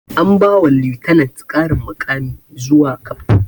An ba wa lieutenent ƙarin muƙami zuwa captain